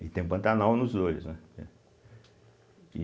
E tem Pantanal nos dois, né? entende e